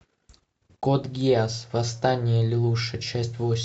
код гиас восстание лелуша часть восемь